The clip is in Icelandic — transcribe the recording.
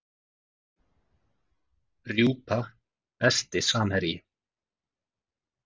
Rjúpa Besti samherji?